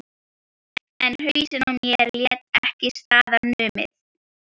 En hausinn á mér lét ekki staðar numið.